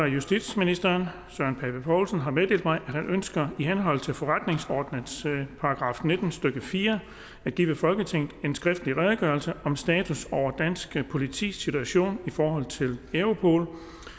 justitsministeren har meddelt mig at han ønsker i henhold til forretningsordenens § nitten stykke fire at give folketinget en skriftlig redegørelse om status over dansk politis situation i forhold til europol